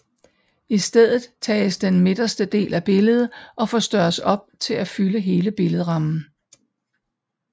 I stedet tages den miderste del af billedet og forstørres op til at fylde hele billedrammen